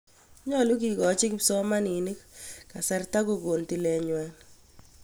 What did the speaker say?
Nyalu kekochi kipsomaninik kasarta kokon tilet ng'wa.